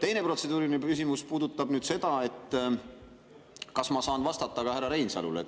Teine protseduuriline küsimus puudutab seda, kas ma saan vastata ka härra Reinsalule.